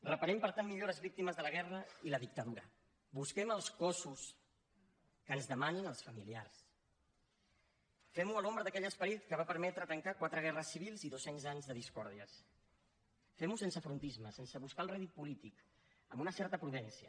reparem per tant millor les víctimes de la guerra i la dictadura busquem els cossos que ens demanin els familiars fem ho a l’ombra d’aquell esperit que va permetre tancar quatre guerres civils i dos cents anys de discòrdies fem ho sense frontisme sense buscar el rèdit polític amb una certa prudència